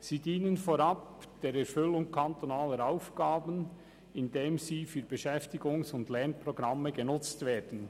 Sie dienen vorab der Erfüllung kantonaler Aufgaben, indem sie für Beschäftigungs- und Lernprogramme genutzt werden.